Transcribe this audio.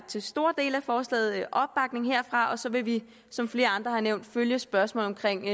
til store dele af forslaget opbakning herfra og så vil vi som flere andre har nævnt følge spørgsmålet omkring